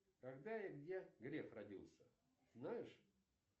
когда и где греф родился знаешь